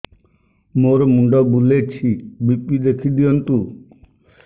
ମୋର ମୁଣ୍ଡ ବୁଲେଛି ବି.ପି ଦେଖି ଦିଅନ୍ତୁ